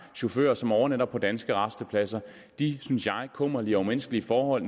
chauffører som overnatter på danske rastepladser de synes jeg kummerlige og umenneskelige forhold